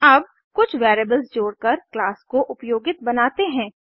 अब कुछ वेरिएबल्स जोड़कर क्लास को उपयोगित बनाते हैं